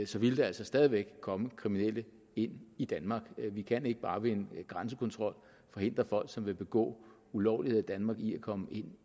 så ville der altså stadig væk komme kriminelle ind i danmark vi kan ikke bare ved en grænsekontrol forhindre folk som vil begå ulovligheder i danmark i at komme ind